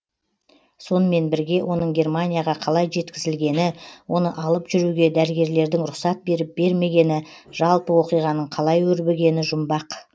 сонымен бірге оның германияға қалай жеткізілгені оны алып жүруге дәрігерлердің рұқсат беріп бермегені жалпы оқиғаның қалай өрбігені жұмбақ